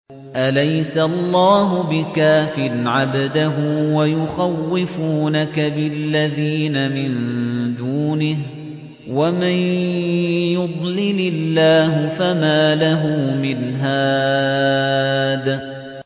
أَلَيْسَ اللَّهُ بِكَافٍ عَبْدَهُ ۖ وَيُخَوِّفُونَكَ بِالَّذِينَ مِن دُونِهِ ۚ وَمَن يُضْلِلِ اللَّهُ فَمَا لَهُ مِنْ هَادٍ